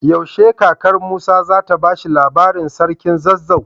Yaushe kakar musa zata bashi labarin sarkin zazzau?